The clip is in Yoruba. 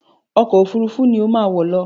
Ọkọ òfurufú ni ó má wọ̀ lọ!